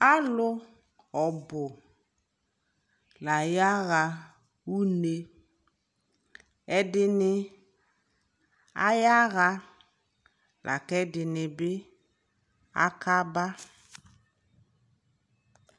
alʋ ɔbʋ layaha ʋnɛ, ɛdini ayaha lakʋ ɛdini aka ba